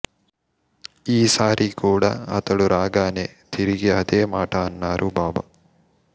ఈసారి కూడా అతడు రాగానే తిరిగి అదే మాట అన్నారు బాబా